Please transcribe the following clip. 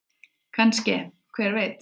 Kannske- hver veit?